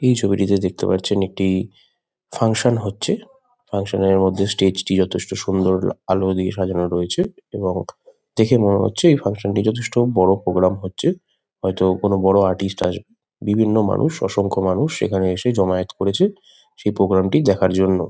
এই ছবিটিতে দেখতে পারছেন একটি ফাঙ্কশন হচ্ছে। ফাঙ্কশন -এর মধ্যে স্টেজ -টি যথেষ্ট সুন্দর আলো দিয়ে সাজানো রয়েছে | এবং দেখে মনে হচ্ছে এই ফাঙ্কশন -টি যথেষ্ট বড়ো প্রোগ্রাম হচ্ছে। হয়তো কোনো বড়ো আর্টিস্ট আসবে। বিভিন্ন মানুষ অসংখ্য মানুষ এখানে এসে জমায়েত করেছে সেই প্রোগ্রাম -টি দেখার জন্য।